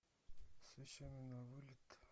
с вещами на вылет